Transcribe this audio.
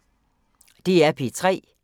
DR P3